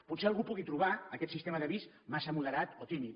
potser algú pugui trobar aquest sistema d’avís massa moderat o tímid